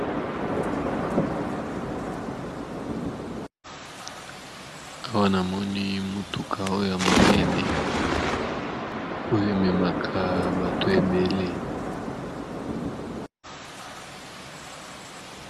Awa namoni mutuka oyo yamunene oyo ememaka batu ebele